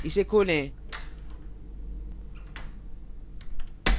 इसे खोलें